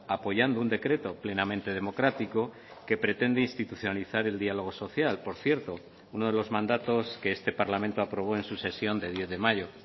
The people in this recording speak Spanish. apoyando un decreto plenamente democrático que pretende institucionalizar el diálogo social por cierto uno de los mandatos que este parlamento aprobó en su sesión de diez de mayo